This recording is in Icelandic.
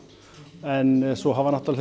en svo hafa